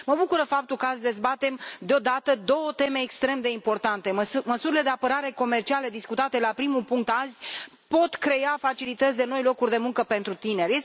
Mă bucură faptul că azi dezbatem deodată două teme extrem de importante. Măsurile de apărare comercială discutate la primul punct azi pot crea facilități de noi locuri de muncă pentru tineri.